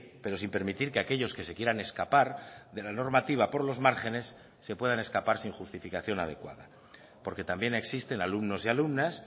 pero sin permitir que aquellos que se quieran escapar de la normativa por los márgenes se puedan escapar sin justificación adecuada porque también existen alumnos y alumnas